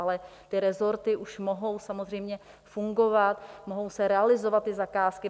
Ale ty resorty už mohou samozřejmě fungovat, mohou se realizovat ty zakázky.